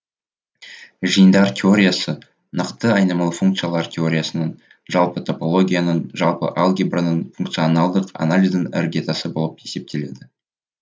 жиындар теориясы нақты айнымалы функциялар теориясының жалпы топологияның жалпы алгебраның функционалдық анализдің іргетасы болып есептеледі